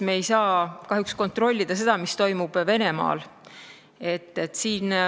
Me ei saa kahjuks kontrollida seda, mis toimub Venemaal.